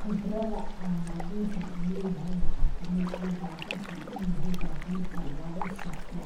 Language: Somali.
Khibrada an baburkan uleyahay waxa kamid ah, baburkan inu yahay baburka lugu safro